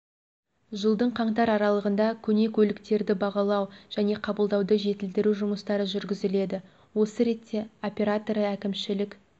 жылдың қаңтар аралығында көне көліктерді бағалау және қабылдауды жетілдіру жұмыстары жүргізіледі осы ретте операторы әкімшілік